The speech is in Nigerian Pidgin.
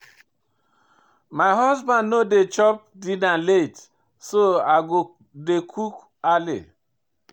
My husband no dey chop dinner late so I go dey cook early.